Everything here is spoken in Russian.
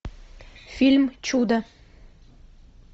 фильм чудо